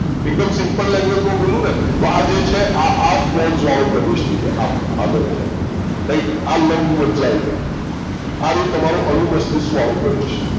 એકદમ Simple language માં બોલું ને તો આ જે છે આ આ પોન્સ વાળું પ્રદેશ થઇ ગયું આમ આગળ થી આમ રાઈટ આ લંબમજ્જા આઈ ગઈ આ રયું તમારો અનુમસ્તિષ્ક વાળો પ્રદેશ,